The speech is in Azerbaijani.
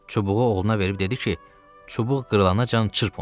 Çubuğu oğluna verib dedi ki, çubuq qırılacann çırp onu.